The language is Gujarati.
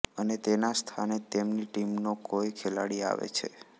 અને તેના સ્થાને તેમની ટીમનો કોઈ ખેલાડી આવે છે